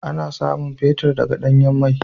Ana samun fetir daga danyan mai.